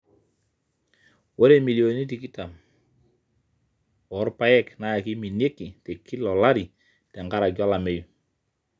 ore imilioni tikitam oolapek naa keiminieki te kila olari te nkaraki olameyu